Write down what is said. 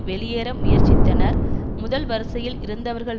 வெளியேற முயற்சித்தனர் முதல் வரிசையில் இருந்தவர்கள்